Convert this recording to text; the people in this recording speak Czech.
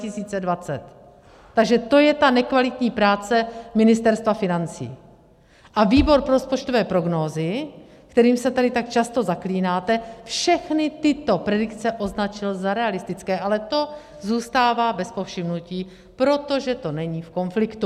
Takže to je ta nekvalitní práce Ministerstva financí, a Výbor pro rozpočtové prognózy, kterým se tady tak často zaklínáte, všechny tyto predikce označil za realistické, ale to zůstává bez povšimnutí, protože to není v konfliktu.